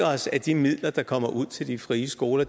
os at de midler der kommer ud til de frie skoler